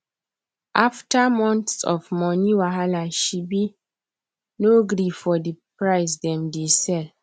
afta months of moni wahala she be nor gree for d price dem dey sell